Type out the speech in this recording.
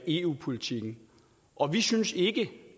eu politikken og vi synes ikke